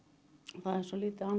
það er svo lítið annað